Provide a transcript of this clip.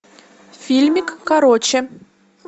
фильмик короче